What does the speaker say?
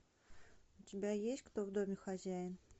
у тебя есть кто в доме хозяин